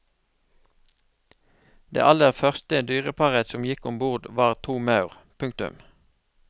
Det aller første dyreparet som gikk ombord var to maur. punktum